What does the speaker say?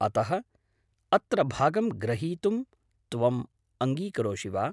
अतः अत्र भागं ग्रहीतुं त्वम् अङ्गीकरोषि वा?